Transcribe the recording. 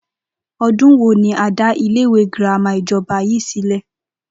O̩dún wo ni a dá ilé ìwé girama ìjo̩ba yìí sílè̩?